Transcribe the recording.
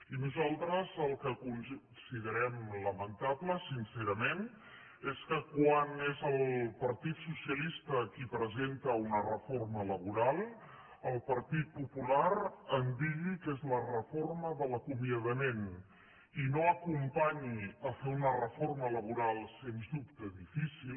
i nosaltres el que considerem lamentable sincerament és que quan és el partit socialista qui presenta un reforma laboral el partit popular en digui que és la reforma de l’acomiadament i que no acompanyi a fer una reforma laboral sens dubte difícil